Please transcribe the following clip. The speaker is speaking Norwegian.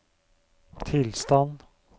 tilstand